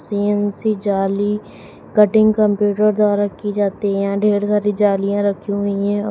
CNC जाली cutting computer द्वारा की जाती है ढेर सारी जालियां रखी हुईं है औ --